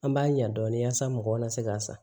An b'a ɲa dɔɔni wasa mɔgɔw kana se k'a san